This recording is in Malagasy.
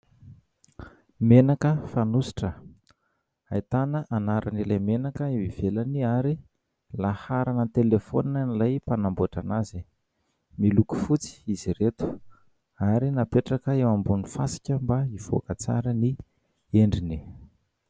menaka fanosotra haitana hanaran' ilay menaka ivelany ary laharanan telefona nilay mpanamboatra ana azy miloko fotsy izy reto ary napetraka eo ambonin'ny fasika mba hivoaka tsara ny endriny